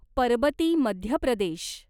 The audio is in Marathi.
परबती मध्य प्रदेश